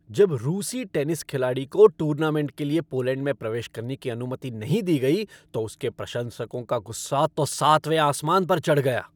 जब रूसी टेनिस खिलाड़ी को टूर्नामेंट के लिए पोलैंड में प्रवेश करने की अनुमति नहीं दी गई तो उसके प्रशंसकों का गुस्सा तो सातवें आसमान पर चढ़ गया।